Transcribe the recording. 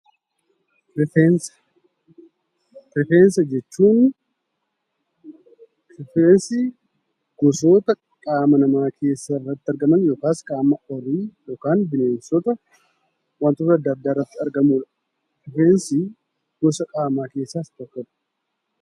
Rifeensa: Rifeensi gosoota qaama namaa irratti argaman yookaan bineensota irratti argamudha. Rifeensi gosa qaamaa keessaa isa tokkodha.